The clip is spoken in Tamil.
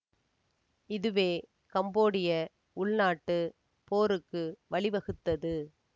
இதுவே கம்போடிய உள்நாட்டு போருக்கு வழிவகுத்தது